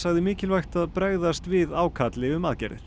sagði mikilvægt að bregðast við ákalli um aðgerðir